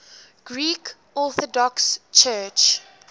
greek orthodox church